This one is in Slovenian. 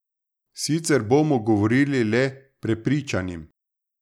Sicer bomo govorili le prepričanim.